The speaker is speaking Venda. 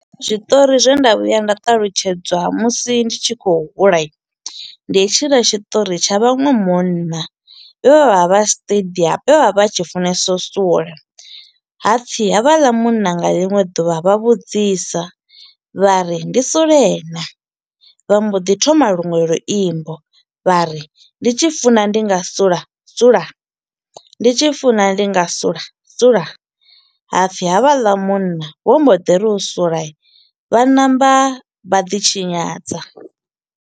Zwiṱori zwe nda vhuya nda talutshedzwa musi ndi tshi kho u hulai, ndi hetshiḽa tshiṱori tsha vhaṅwe munna vhe vha vha vha stadium, vhe vha vha vha tshi funesa u sula hapfi havhaḽa munna nga ḽiṅwe ḓuvha vha vhudzisa vha ri ndi sule na, vha mbo ḓi thoma luṅwe luimbo vha ri, ndi tshi funa ndi nga sula, sula ndi tshi funa ndi nga sula, sula. Hapfi havhaḽa munna vho mbo ḓi ri u sulai, vha ṋamba vha ḓi tshinyadza.